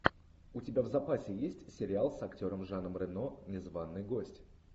у тебя в запасе есть сериал с актером жаном рено незваный гость